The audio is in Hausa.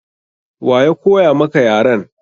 Wa ya koya maka yaren?